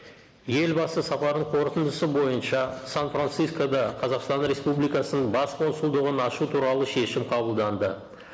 елбасы сапарының қорытындысы бойынша сан францискода қазақстан республикасының бас консулдығын ашу туралы шешім қабылданды